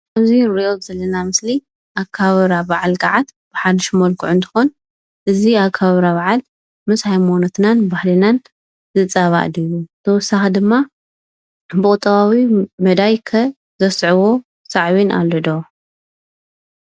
እዚ ኣንሪኦ ዘለና ምስሊ ኣከባብራ በዓል ጋዓት ብሓድሽ መልክዑ እንትኾን፣ እዚ ኣከባብራ በዓል ምስ ሃይማኖትኖን ባህልናን ዝፃባእ ድዩ? ብተወሳኺ ድማ ብቑጠባዊ መዳይ ከ ዘስዕቦ ሳዕቤን ኣሎ ዶ?